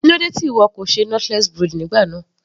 Kílódé tí ìwọ kò ṣe knotless braid nígbà náà.